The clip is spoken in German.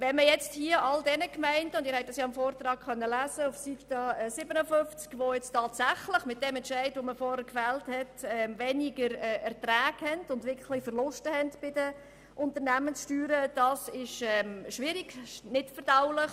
Wie Sie auf Seite 57 im Vortrag haben lesen können, ist es für diejenigen Gemeinden schwierig und nicht verdaulich, die aufgrund des vorhin gefällten Entscheides tatsächlich weniger Erträge und wirkliche Verluste bei den Unternehmenssteuern verzeichnen werden.